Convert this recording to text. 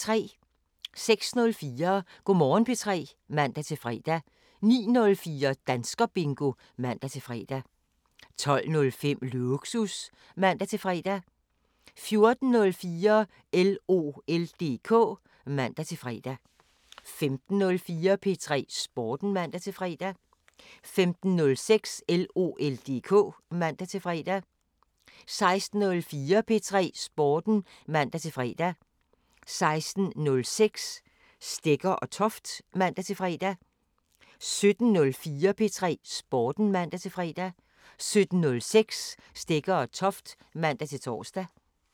06:04: Go' Morgen P3 (man-fre) 09:04: Danskerbingo (man-fre) 12:05: Lågsus (man-fre) 14:04: LOL DK (man-fre) 15:04: P3 Sporten (man-fre) 15:06: LOL DK (man-fre) 16:04: P3 Sporten (man-fre) 16:06: Stegger & Toft (man-tor) 17:04: P3 Sporten (man-fre) 17:06: Stegger & Toft (man-tor)